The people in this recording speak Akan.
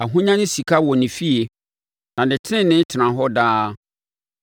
Ahonya ne sika wɔ ne fie, na ne tenenee tena hɔ daa.